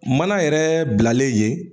Mana yɛrɛ bilalen ye.